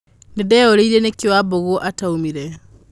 Nĩndeyũririe nĩkĩĩ Wambũgũataumire.